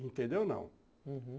Entendeu, não? Uhum.